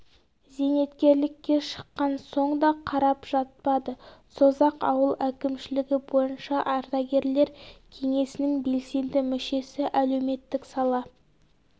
зейнеткерлікке шыққан соң да қарап жатпады созақ ауыл әкімшілігі бойынша ардагерлер кеңесінің белсенді мүшесі әлеуметтік сала